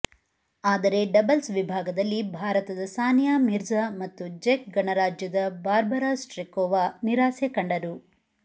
ಆದರೆ ಡಬಲ್ಸ್ ವಿಭಾಗದಲ್ಲಿ ಭಾರತದ ಸಾನಿಯಾ ಮಿರ್ಜಾ ಮತ್ತು ಜೆಕ್ ಗಣರಾಜ್ಯದ ಬಾರ್ಬರಾ ಸ್ಟ್ರೈಕೋವಾ ನಿರಾಸೆ ಕಂಡರು